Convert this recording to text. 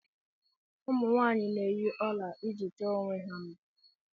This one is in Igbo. Ụmụ nwanyị na-eyi ọla iji chọọ onwe ha mma.